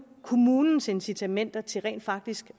kommunens incitamenter til rent faktisk